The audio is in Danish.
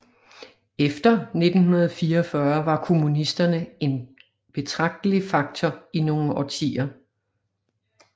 Efter 1944 var kommunisterne er betragtelig faktor i nogle årtier